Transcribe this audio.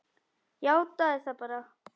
Játaðu það bara!